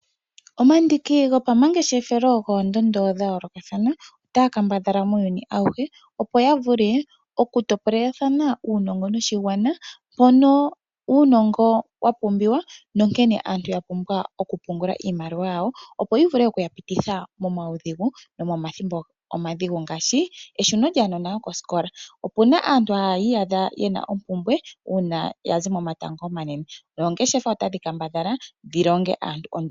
Omandiki gopamangeshefelo goondondo dha yoolokathana otaa kadhadhala muuyuni awuhe opo ya vule oku topolethana uunongo noshigwana mpono uunongo wapumbiwa nonkene aantu yena okupungula iimaliwa yawo yo yi vule okuya pititha mo momaudhigu nomathimbo omadhigu ngaashi eshuno lyaanona lyokosikola opuna aantu hayi iyadha yeli mompumbwe uuna yazi momatango omanene. Noongeshefa itadhi kambadhala dhi longe aantu